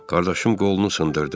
Qardaşım qolunu sındırdı.